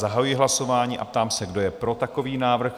Zahajuji hlasování a ptám se, kdo je pro takový návrh?